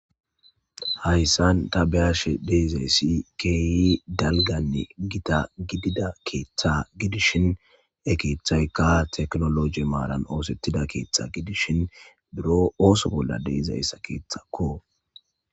Hayssan ta beashe deiizayssi kehi dalgganne giita giidida keththa giddishin he keththayka tekkinolojje maaran oththetida keththa giddishin buuro oththo bolla deiiza keththako.